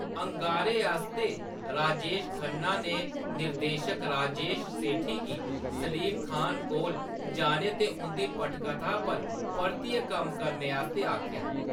अंगारे आस्तै राजेश खन्ना ने निर्देशक राजेश सेठी गी सलीम खान कोल जाने ते उंʼदी पटकथा पर परतियै कम्म करने आस्तै आखेआ।